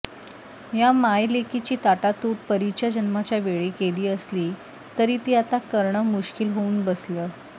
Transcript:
या मायलेकीची ताटातूट परीच्या जन्माच्या वेळी केली असली तरी ती आता करणं मुश्किल होऊन बसलं